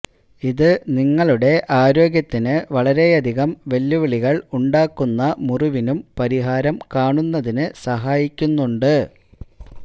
ഇത് നിങ്ങളുടെ ആരോഗ്യത്തിന് വളരെയധികം വെല്ലുവിളികള് ഉണ്ടാക്കുന്ന മുറിവിനും പരിഹാരം കാണുന്നതിന് സഹായിക്കുന്നുണ്ട്